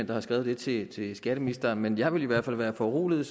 der har skrevet det til skatteministeren men jeg ville i hvert fald være foruroliget